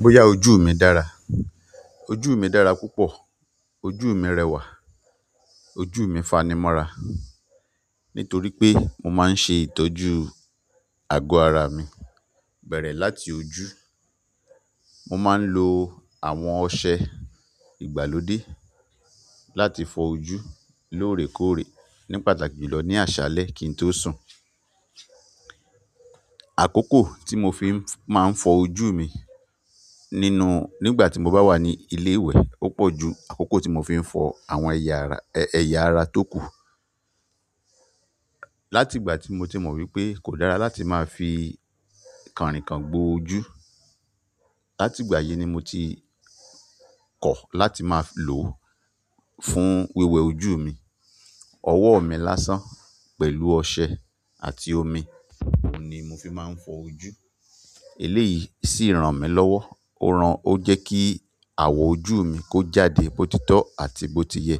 Bóyá ojú mi dára. Ojú mi dára púpọ̀, ojú mi rẹwà, ojú mi fanimọ́ra nítorí pé mo máa ń ṣe ìtọ́jú àgọ́ ara mi bẹ̀rẹ̀ láti ojú. Mo máa ń lo àwọn ọṣẹ ìgbàlódé láti fọ ojú lóòrèkóòrè ní pàtàkì jùlọ ní àṣálẹ́ kí n tó sùn. Àkókò tí mo fi máa ń fọ ojú mi nínú-- nígbà tí mo bá wà ní ilé ìwẹ̀ ó pọ̀ ju àkókò tí mo fi ń fọ àwọn ẹ̀yà ara, ẹ̀yà ara tó kù. Láti ìgbà tí mo ti mọ̀ wípé kò dára láti máa fi kànrìnkàn gbo ojú, láti ìgbà yìí ni mo ti kọ̀ láti máa lò fún wẹ́wẹ́ ojú mi. Ọwọ́ mi lásán pẹ̀lú ọṣẹ àti omi, òun ni mo fi máa ń fọ ojú. Eléyìí sì ràn mí lọ́wọ́, ó ran-- ó jẹ́ kí àwọ̀ ojú mi kó jáde bó ti tọ́ àti bó ti yẹ.